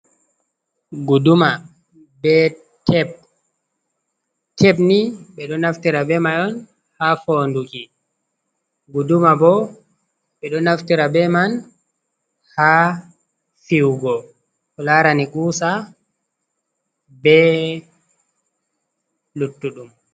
"Guduma" bee "teb", "teb" nii ɓe ɗo naftira bee may on haa foonnduki. Guduma bo ɓe ɗo naftira bee man haa fiyugo ko laarani "kuusa" bee luttuɗum.